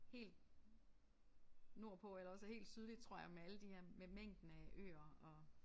Helt nordpå eller også helt sydligt tror jeg med alle de her med mængden af øer og